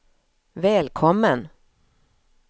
välkommen